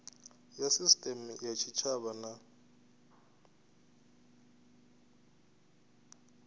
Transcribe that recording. ya sisiteme ya tshitshavha na